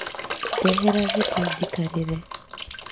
Ndehera gĩtĩ njikarĩre